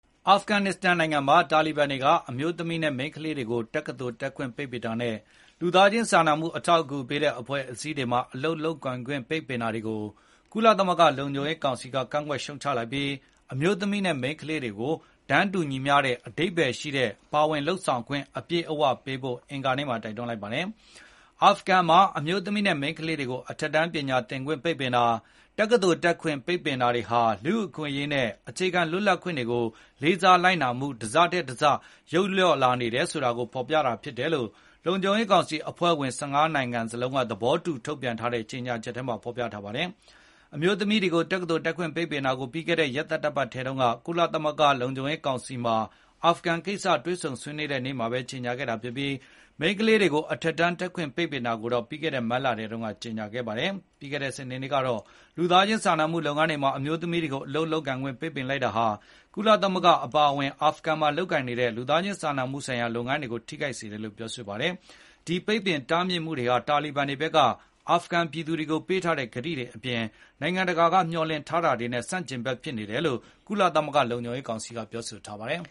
အာဖဂန်နစ္စတန်နိုင်ငံမှာ တာလီဘန်တွေက အမျိုးသမီးနဲ့မိန်းကလေးတွေကို တက္ကသိုလ်တက်ခွင့်ပိတ်ပင်တာနဲ့ လူသားခြင်းစာနာမှု အထောက်အကူပေးတဲ့အဖွဲ့အစည်းတွေမှာအလုပ်လုပ်ကိုင်ခွင့်ပိတ်ပင်တာတွေကိုကုလသမဂ္ဂလုံခြုံရေး ကောင်စီကကန့်ကွက်ရှုတ်ချလိုက်ပြီး အမျိုးသမီးနဲ့မိန်းကလေးတွေကို တန်းတူညီမျှတဲ့ အဓိပ္ပါယ်ရှိတဲ့ပါဝင်လုပ်ဆောင်ခွင့် အပြည့်အဝပေးဖို့ အင်္ဂါနေ့မှာတိုက်တွန်းလိုက်ပါတယ်။ အာဖဂန်မှာအမျိုးသမီးနဲ့မိန်းကလေးတွေကို အထက်တန်းပညာသင်ခွင့်ပိတ်ပင်တာ၊ တက္ကသိုလ်တက်ခွင့်ပိတ်ပင်တာတွေဟာ လူ့အခွင့်အရေးနဲ့အခြေခံလွတ်လပ်ခွင့်တွေကိုလေးစာလိုက်နာမှုတစထက်တစ ယုတ်လျော့လာနေတာကိုဖေါ်ပြနေတယ်လို့ လုံခြုံရေးကောင်စီအဖွဲ့ဝင် ၁၅ နိုင်ငံစလုံးက သဘောတူထုတ်ပြန်တဲ့ ကြေညာချက်ထဲမှာပြောဆိုထားပါတယ်။ အမျိုးသမီးတွေကို တက္ကသိုလ်တက်ခွင့်ပိတ်ပင်တာကိုပြီးခဲ့တဲ့ ရက်သတ္တပတ်ထဲတုန်းက ကုလသမဂ္ဂလုံခြုံရေးကောင်စီမှာ အာဖဂန်ကိစ္စတွေ့ဆုံဆွေးနွေးတဲ့နေ့ မှာဘဲကြေညာခဲ့တာဖြစ်ပြီး၊ မိန်းကလေးတွေကို အထက်တန်းတက်ခွင့် ပိတ်ပင်တာကို တော့ပြီးခဲ့တဲ့ မတ်လထဲတုန်းကကြေညာခဲ့တာပါ။ ပြီးခဲ့တဲ့စနေနေ့က လူသားခြင်းစာနာမှုလုပ်ငန်းတွေမှာအမျိုးသမီးတွေကိုအလုပ်လုပ်ကိုင်ခွင့်ပိတ်ပင်လိုက်တာဟာ ကုလသမဂ္ဂအပါအဝင် အာဖဂန်မှာလုပ်ကိုင်နေတဲ့ လူသားခြင်းစာနာမှုဆိုင်ရာလုပ်ငန်းတွေကိုထိခိုက်စေတယ်လို့ ဆိုပါတယ်။ ဒီပိတ်ပင်တားမြစ်မှုတွေဟာ တာလီဘန်တွေက အာဖဂန်ပြည်သူတွေကိုပေးထားတဲ့ကတိတွေအပြင် နိုင်ငံတကာက မျှော်လင့်ထားတာတွေနဲ့ ဆန့်ကျင်ဘက်တွေဖြစ်တယ်လို့ ကုလသမဂ္ဂလုံခြုံရေးကောင်စီကပြောဆိုထားပါတယ်